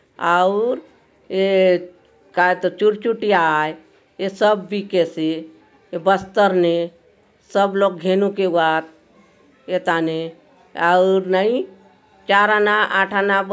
आउर ये कायतो चुर चुटिया आय ये सब बीकेसे ये बस्तर ने सब लोग घेनुक ए वात एथाने आउर नई चार आना आठ आना--